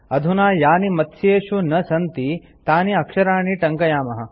अधुना यानि मत्स्येषु न सन्ति तानि अक्षराणि टङ्कयामः